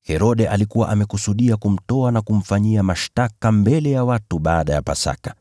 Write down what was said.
Herode alikuwa amekusudia kumtoa na kumfanyia mashtaka mbele ya watu baada ya Pasaka.